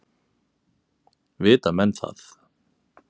Vita menn það?